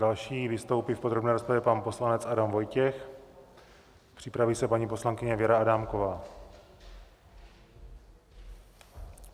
Další vystoupí v podrobné rozpravě pan poslanec Adam Vojtěch, připraví se paní poslankyně Věra Adámková.